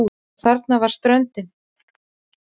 Og þarna var ströndin!